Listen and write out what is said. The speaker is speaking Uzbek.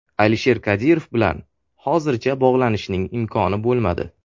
Alisher Kadirov bilan hozircha bog‘lanishning imkoni bo‘lmadi.